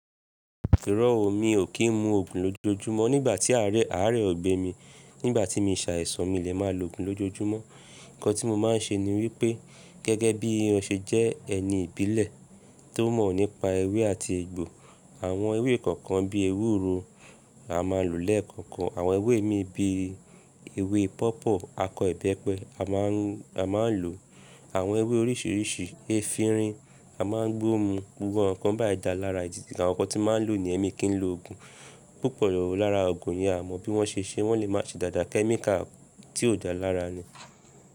Ìró ò mi ò kí ń mu òògùn lójojúmọ́. Nígbà tí àárẹ, àárẹ ò gbé mi, nígbà tí mi ṣàìsàn mi lè máa lo òògùn lójojúmọ́. Ǹkan tí mo máa ń ṣe ni wípé gẹ́gẹ́ bí mo ṣe jẹ́ ẹni ìbílẹ̀ tó mọ̀ nípa ewé àti egbò. Àwọn ewé kọ̀ọ̀kan bí ewúro a máa lò lẹ́ẹ̀kọ̀kan. Àwọn ewé mi bí ewé pọ̀pọ́, akọ̀ẹ́bẹ́pẹ a máa ń, a máa ń lò. Àwọn ewé oríṣìíríṣìí, ẹ́finrin a máa ń gbó mun. Gbogbo ǹkan báì dà lára èjìtì. Àwọn ǹkan tí máa ń lò ni ẹ́mi kì í lo òògùn. Púpọ̀ lára òògùn yẹn a mọ bí wọ́n ṣe ṣe. Wọ́n lè máa ṣe dàda kẹ́́míkà tí ò dà lára ni.